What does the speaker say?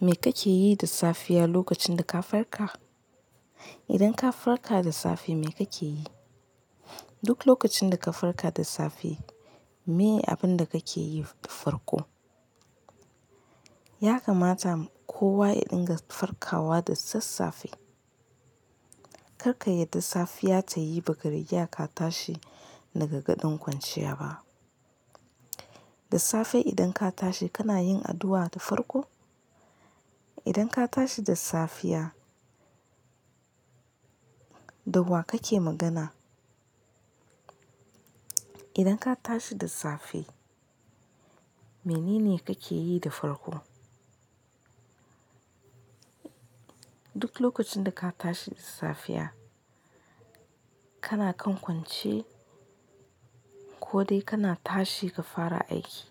Me kake yi da safiya lokacin da ka farka? Idan ka farka da safe me kake yi? Duk lokacin da ka farka da safe, me abin da kake yi farko? Ya kamata kowa ya dinga farkawa da sassafe. Kar ka yadda safiya ta yi ba riga ya ka tashi daga gaɗon kwanciya ba. Da safe idan ka tashi kana yin addu'a da farko? Idan ka tashi da safiya, da wa kake magana? Idan ka tashi da safe, mene ne kake yi da farko? Duk lokacin da ka tashi da safiya, kana kan kwance ko dai kana tashi ka fara aiki.